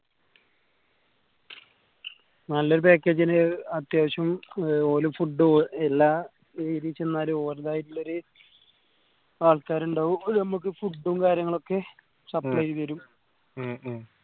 നല്ലൊരു package ന് അത്യാവശ്യം ഏർ ഓര് food എല്ലാ ഒര്തായിട്ടുള്ളൊരു ആൾക്കാര് ഇണ്ടാവു ഓര് നമക്ക് food ഉം കാര്യങ്ങളൊക്കെ supply ചെയ്തരും ഉം